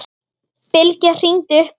Bylgja hringdi upp á